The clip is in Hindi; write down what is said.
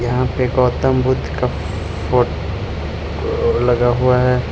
यहां पे गौतम बुद्ध का फो लगा हुआ है।